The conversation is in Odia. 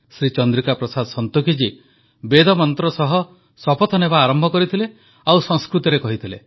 ଶ୍ରୀ ଚନ୍ଦ୍ରିକା ପ୍ରସାଦ ସଂତୋଖି ଜୀ ବେଦମନ୍ତ୍ର ସହ ଶପଥ ନେବା ଆରମ୍ଭ କରିଥିଲେ ଓ ସଂସ୍କୃତରେ କହିଥିଲେ